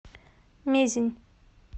мезень